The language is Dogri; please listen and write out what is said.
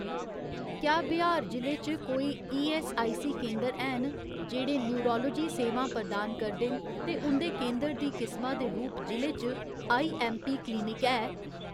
क्या बिहार जि'ले च कोई ईऐस्सआईसी केंदर हैन जेह्ड़े नयूरालोजी सेवां प्रदान करदे न ते उं'दे केंदर दी किसमा दे रूप जि'ले च आईऐम्मपी क्लिनिक है ?